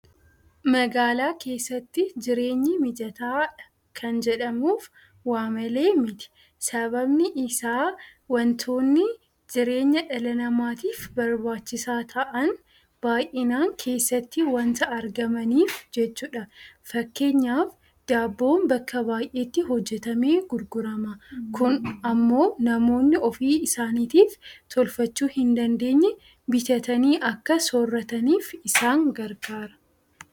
Magaalaa keessatti jireenyi mijataadha kan jedhamuuf waamalee miti. Sababni isaa waantonni jireenya dhala namaatiif barbaachisaa ta'an baay'inaan keessatti waanta argamaniif jechuudha. Fakkeenyaaf Daabboon bakka baay'eetti hojjetamee gurgurama. Kun immoo namoonni ofii isaaniitiif tolfachuu hindandeenye bitatanii akka soorrataniif isaan gargaara.